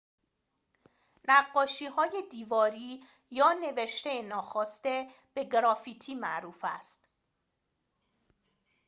نقاشی‌های دیواری یا نوشته ناخواسته به گرافیتی معروف است